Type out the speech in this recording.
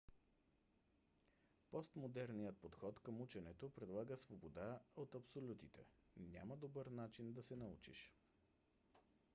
постмодерният подход към ученето предлага свобода от абсолютите. няма добър начин да се научиш